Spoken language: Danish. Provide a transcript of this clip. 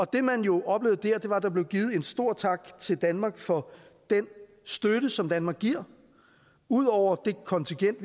det man jo oplevede der var at der blev givet en stor tak til danmark for den støtte som danmark giver ud over det kontingent